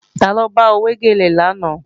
Taló bá ọ wé gèlè lánàá